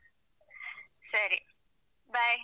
ಸರಿ bye .